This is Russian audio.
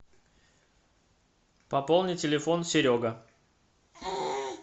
пополни телефон серега